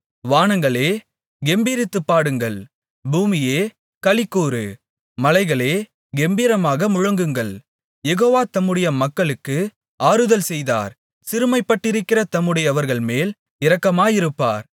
வானங்களே கெம்பீரித்துப் பாடுங்கள் பூமியே களிகூரு மலைகளே கெம்பீரமாக முழங்குங்கள் யெகோவா தம்முடைய மக்களுக்கு ஆறுதல் செய்தார் சிறுமைப்பட்டிருக்கிற தம்முடையவர்கள்மேல் இரக்கமாயிருப்பார்